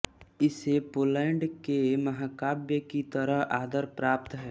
इसे पोलैंड के महाकाव्य की तरह आदर प्राप्त है